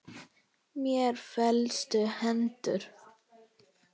Mér féllust hendur.